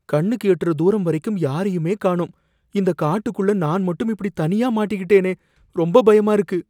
கண்ணுக்கு எட்டுற தூரம் வரைக்கும் யாரையுமே காணோம்! இந்த காட்டுக்குள்ள நான் மட்டும் இப்படி தனியா மாட்டிக்கிட்டேனே! ரொம்ப பயமா இருக்கு.